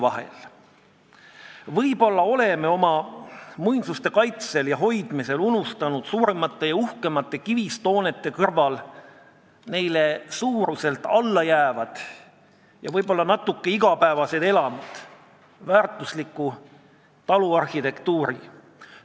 Vahest me oleme oma muinsuste kaitsel ja hoidmisel unustanud suurematele ja uhkematele kivist hoonetele suuruselt alla jäävad ja igapäevasemad elamud, väärtusliku taluarhitektuuri.